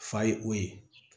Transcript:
Fa ye o ye